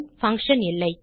function இல்லை